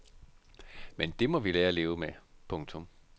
Men det må vi lære at leve med. punktum